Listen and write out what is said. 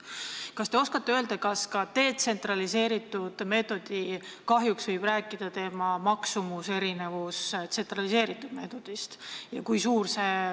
Kas te oskate öelda, kas detsentraliseeritud meetodi kahjuks võib rääkida selle maksumuse erinevus tsentraliseeritud meetodi maksumusest?